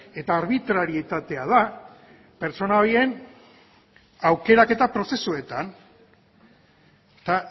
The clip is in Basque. eta arbitraritatea da pertsona horien aukeraketa prozesuetan eta